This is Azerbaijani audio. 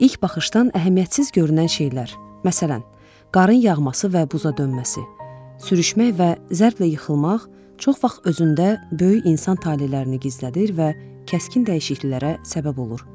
İlk baxışdan əhəmiyyətsiz görünən şeylər, məsələn, qarın yağması və buza dönməsi, sürüşmək və zərblə yıxılmaq çox vaxt özündə böyük insan talelərini gizlədir və kəskin dəyişikliklərə səbəb olur.